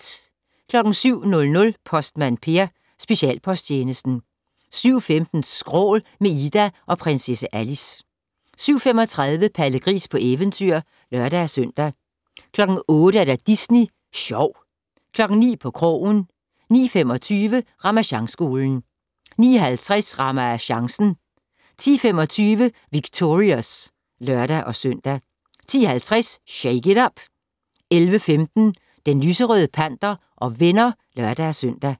07:00: Postmand Per: Specialposttjenesten 07:15: Skrål - med Ida og Prinsesse Alice 07:35: Palle Gris på eventyr (lør-søn) 08:00: Disney Sjov 09:00: På krogen 09:25: Ramasjangskolen 09:50: RamaChancen 10:25: Victorious (lør-søn) 10:50: Shake it up! 11:15: Den lyserøde panter og venner (lør-søn)